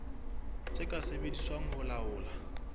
tse ka sebediswang ho laola